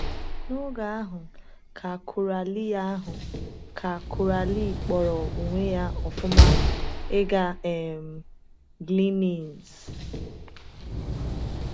N’oge ahụ ka Coralie ahụ ka Coralie kpọrọ onwe ya ọ̀fụma ịga um Glen Innes.